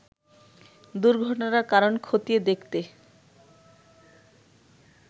দুর্ঘটনার কারণ ক্ষতিয়ে দেখতে